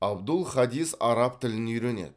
абдул хадис араб тілін үйренеді